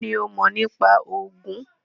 kini o mo nipa Ogun